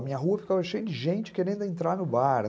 A minha rua ficava cheia de gente querendo entrar no bar.